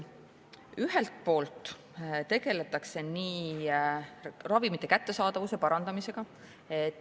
Ühelt poolt tegeldakse ravimite kättesaadavuse parandamisega.